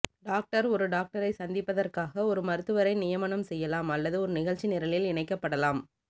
doctor ஒரு டாக்டரை சந்திப்பதற்காக ஒரு மருத்துவரை நியமனம் செய்யலாம் அல்லது ஒரு நிகழ்ச்சி நிரலில் இணைக்கப்படலாம்